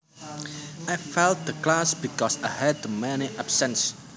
I failed the class because I had too many absences